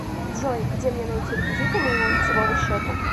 джой где мне найти реквизиты моего лицевого счета